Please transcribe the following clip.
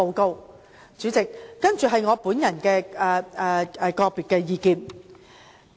代理主席，以下是我的個人意見。